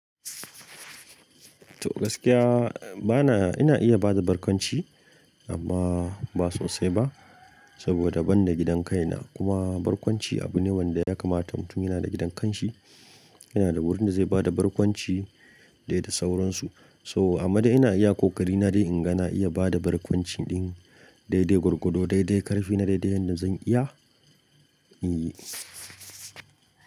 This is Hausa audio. To gaskiya bana, ina iya bada barkwanci amma ba sosai ba saboda ban da gidan kaina. Kuma barkwanci abu ne wanda ya kamata mutum yana da gidan kanshi, yana da wurin da zai bada barkwanci de da sauransu. Toh amma de ina iya kokari na dai inga na iya bada barkwanci din, dai-dai gwargwado, dai dai karfi na dai-dai yadda zan iya in yi.